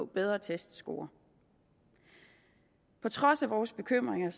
bedre testscorer på trods af vores bekymringer